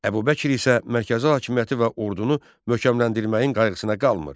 Əbu Bəkir isə mərkəzi hakimiyyəti və ordunu möhkəmləndirməyin qayğısına qalmır.